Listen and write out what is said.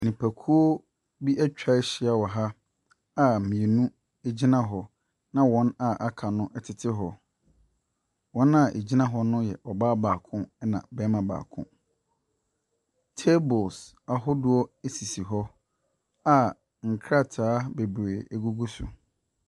Nnipakuo bi atwa ahyia wɔ ha a mmienu gyina hɔ na wɔn a wɔaka no tete hɔ. Wɔn a wɔgyina hɔ no yɛ ɔbaa baako na ɔbarima baako. Table ahodoɔ sisi hɔ a nkrataa bebree gugu so.